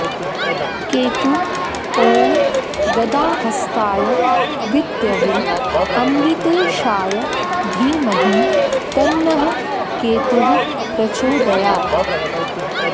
केतु ॐ गदाहस्ताय विद्महे अमृतेशाय धीमहि तन्नः केतुः प्रचोदयात्